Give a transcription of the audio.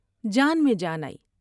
جان میں جان آئی ۔